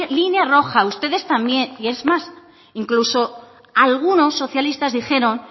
línea roja ustedes también y es más incluso algunos socialistas dijeron